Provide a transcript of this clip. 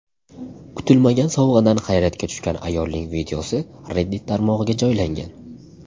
Kutilmagan sovg‘adan hayratga tushgan ayolning videosi Reddit tarmog‘iga joylangan .